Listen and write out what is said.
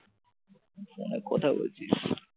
ফোনে কথা বলছিস?